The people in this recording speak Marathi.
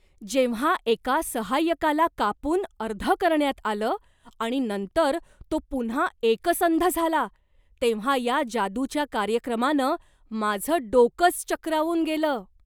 जेव्हा एका सहाय्यकाला कापून अर्ध करण्यात आलं आणि नंतर तो पुन्हा एकसंध झाला तेव्हा या जादूच्या कार्यक्रमानं माझं डोकंच चक्रावून गेलं.